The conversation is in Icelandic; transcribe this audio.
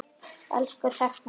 Elsku Hrefna mín.